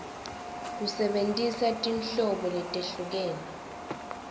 kusebentisa tinhlobo letehlukene